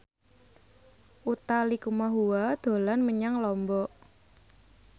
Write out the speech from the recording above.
Utha Likumahua dolan menyang Lombok